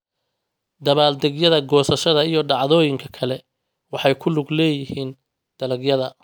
Dabaaldegyada goosashada iyo dhacdooyinka kale waxay ku lug leeyihiin dalagyada.